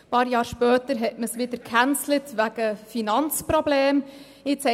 Ein paar Jahre später hat man es wegen Finanzproblemen wieder abgesetzt.